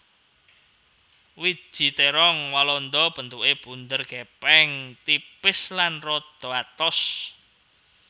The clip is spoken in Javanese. Wiji térong walanda bentuké bunder gèpèng tipis lan rada atos